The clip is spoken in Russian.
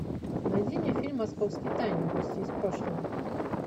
найди мне фильм московские тайны гости из прошлого